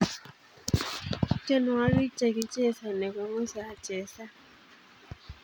tienwokik chekichesani kongusa achesan